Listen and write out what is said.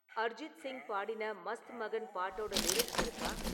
அர்ஜித் சிங் பாடின மஸ்த் மகன் பாட்டோட லிரிக்ஸ் இருக்கா?